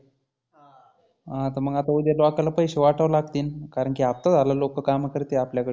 हा तर मग आता उद्या लोकाला पैसे वाटावा लागतील. कारण की हप्ता झाला लोकं काम करते आपल्या कडं.